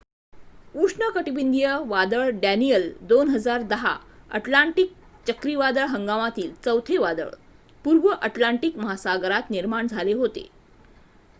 उष्णकटिबंधीय वादळ Daniel 2010 Atlantic चक्रीवादळ हंगामातील चौथे वादळ पूर्व अटलांटिक महासागरात निर्माण झाले होते